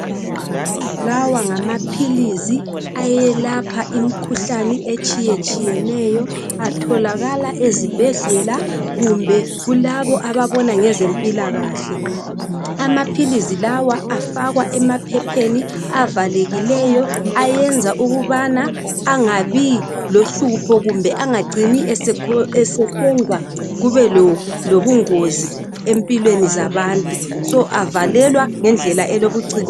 Lawa ngamaphilisi ayelapha imikhuhlane etshiyetshiyeneyo, atholakala ezibhedlela kumbe kulabo ababona ngezempilakahle amaphilisi lawa afakwa emaphepheni avalekileyo ayenza ukubana engabilohlupho kumbe engacini esenza kubelobungozi empilweni zabantu so avalekwa ngendlela elobuciko